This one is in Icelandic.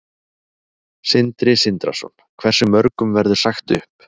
Sindri Sindrason: Hversu mörgum verður sagt upp?